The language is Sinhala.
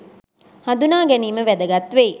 හඳුනා ගැනීම වැදගත් වෙයි.